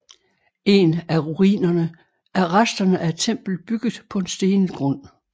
En af ruinerne er resterne af et tempel bygget på en stenet strand